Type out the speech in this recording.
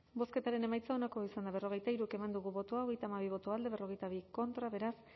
bozketaren emaitza onako izan da berrogeita hiru eman dugu bozka hogeita hamabi boto alde cuarenta y dos contra beraz